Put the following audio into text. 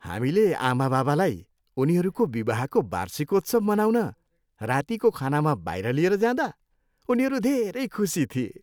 हामीले आमाबाबालाई उनीहरूको विवाहको वार्षिकोत्सव मनाउन रातीको खानामा बाहिर लिएर जाँदा उनीहरू धेरै खुसी थिए।